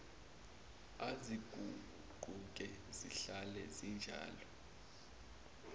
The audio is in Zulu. aziguquki zihlala zinjalo